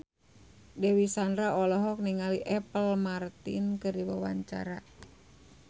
Dewi Sandra olohok ningali Apple Martin keur diwawancara